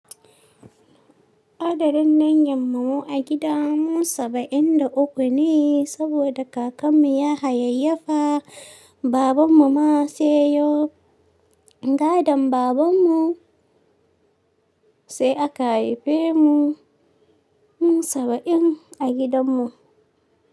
Adadin ƴan mamu a gidan mu saba'in da uku ne, saboda kakanmu ya hayayyafa, babanmu ma sai yayo. Gadan babanmu sai aka haife mu mu saba'in a gidanmu.